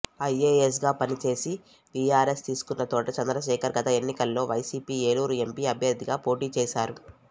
ఐఏఎస్గా పనిచేసి వీఆర్ఎస్ తీసుకున్న తోట చంద్రశేఖర్ గత ఎన్నికల్లో వైసీపీ ఏలూరు ఎంపీ అభ్యర్థిగా పోటీ చేశారు